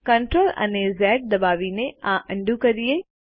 ચાલો CTRL અને Z દબાવીને આ અન્ડું કરીએ